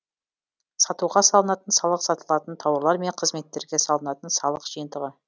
сатуға салынатын салық сатылатын тауарлар мен қызметтерге салынатын салық жиынтығы